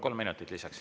Kolm minutit lisaks.